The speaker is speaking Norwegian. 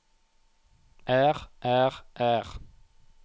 er er er